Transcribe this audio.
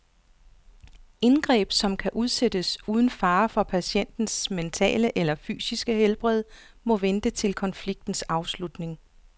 Indgreb, som kan udsættes uden fare for patientens mentale eller fysiske helbred, må vente til konfliktens afslutning.